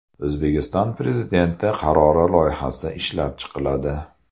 O‘zbekiston Prezidenti qarori loyihasi ishlab chiqiladi.